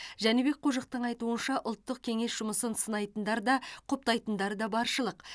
жәнібек қожықтың айтуынша ұлттық кеңес жұмысын сынайтындар да құптайтындар да баршылық